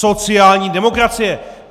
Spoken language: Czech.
Sociální demokracie!